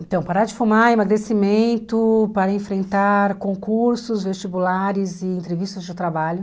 Então, parar de fumar, emagrecimento, para enfrentar concursos, vestibulares e entrevistas de trabalho.